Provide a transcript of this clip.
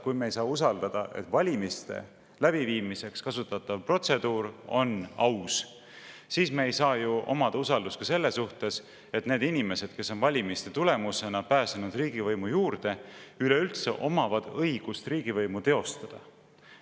Kui me ei saa uskuda, et valimiste läbiviimiseks kasutatav protseduur on aus, siis me ei saa ju uskuda ka seda, et need inimesed, kes on valimiste tulemusena pääsenud riigivõimu juurde, üleüldse omavad õigust riigivõimu teostada.